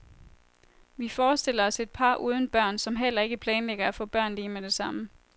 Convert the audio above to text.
Vi forestiller os et par uden børn, som heller ikke planlægger at få børn lige med det samme.